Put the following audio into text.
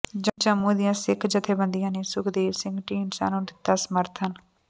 ਜੰਮੂ ਦੀਆਂ ਸਿੱਖ ਜਥੇਬੰਦੀਆਂ ਨੇ ਸੁਖਦੇਵ ਸਿੰਘ ਢੀਂਡਸਾ ਨੂੰ ਦਿਤਾ ਸਮਰਥਨ